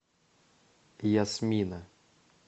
ясмина